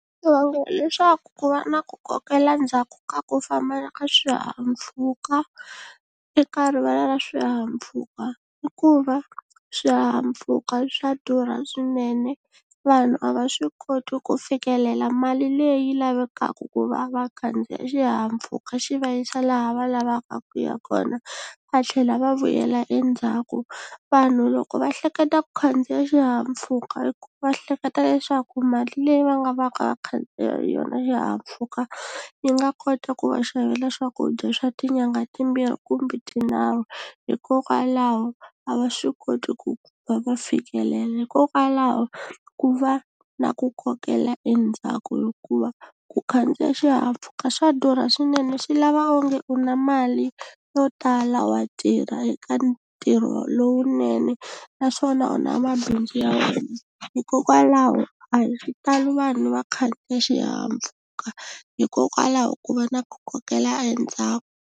leswaku ku va na ku kokela ndzhaku ka ku fambela ka swihahampfhuka eka rivala ra swihahampfhuka hikuva swihahampfhuka swa durha swinene vanhu a va swi koti ku fikelela mali leyi lavekaka ku va va khandziya xihahampfhuka xi va yisa laha va lavaka ku ya kona va tlhela va vuyela endzhaku vanhu loko va hleketa ku khandziya xihahampfhuka i ku va hleketa leswaku mali leyi va nga va ka khandziya hi yona xihahampfhuka yi nga kota ku va xavela swakudya swa tinyanga timbirhi kumbe tinharhu hikokwalaho a va swi koti ku va va fikelela hikokwalaho ku va na ku kokela endzhaku hikuva ku khandziya xihahampfhuka swa durha swinene swi lava onge u na mali yo tala wa tirha eka ntirho lowunene naswona u na mabindzu ya wena hikokwalaho a hi xitalo vanhu va khandziya xihahampfhuka hikokwalaho ku va na ku kokela endzhaku.